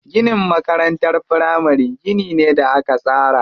Ginin makarantar firamari gini ne da aka tsara.